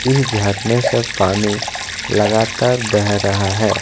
ये झरने से पानी लागतार बह रहा है।